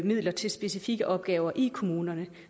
midler til specifikke opgaver i kommunerne